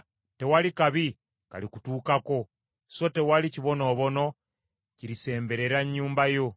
tewali kabi kalikutuukako, so tewali kibonoobono kirisemberera nnyumba yo.